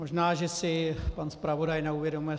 Možná že si pan zpravodaj neuvědomuje.